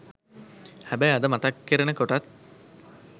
හැබැයි අද මතක් කරන කොටත්